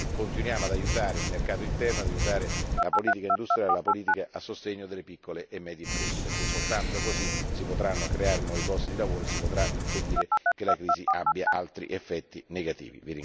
continuiamo ad aiutare il mercato interno, ad aiutare la politica industriale, la politica a sostegno delle piccole e medie imprese, perché soltanto così si potranno creare nuovi posti di lavoro e si potrà impedire che la crisi abbia altri effetti negativi.